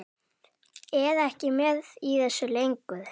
Er ekki með í þessu lengur.